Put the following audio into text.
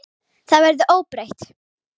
Það verður óbreytt.